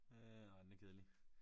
Øh ej den er kedelig